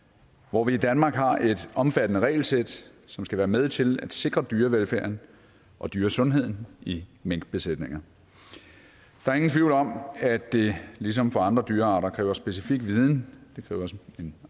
hvor vi i danmark har et omfattende regelsæt som skal være med til at sikre dyrevelfærden og dyresundheden i minkbesætninger der er ingen tvivl om at det ligesom for andre dyrearter kræver specifik viden